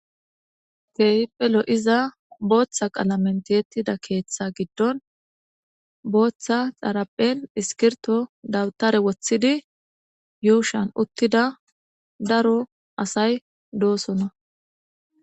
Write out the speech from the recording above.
Kehippe lo'iza booththa qalamenteettida keeththa giddon booththa xaraphen iskirto dawutare woththidi yuushan uttida daro asay doosona.